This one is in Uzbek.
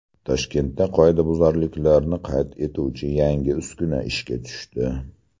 Toshkentda qoidabuzarliklarni qayd etuvchi yangi uskuna ishga tushdi.